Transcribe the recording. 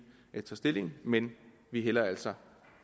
tager stilling men vi hælder altså